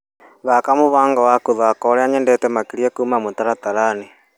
Thaka mũbango wa gũthaka ũrĩa nyendete makĩria kuma mũtaratara-inĩ .